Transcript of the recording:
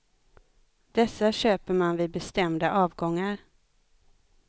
Dessa köper man vid bestämda avgångar.